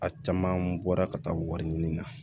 A caman bɔra ka taa wari ɲini na